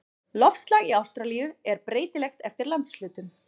Loftslag í Ástralíu er breytilegt eftir landshlutum.